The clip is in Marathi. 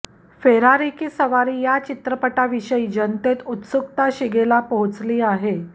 फेरारी की सवारी या चित्रपटाविषयी जनतेत उत्सुकता शिगेला पोहोचली आहे